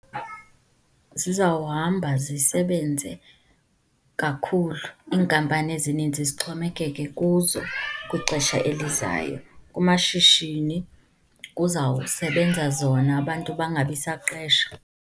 Zizawuhamba zisebenze kakhulu, iinkampani ezininzi zixhomekeke kuzo kwixesha elizayo. Kumashishini kuzawusebenza zona, abantu bangabi saqesha.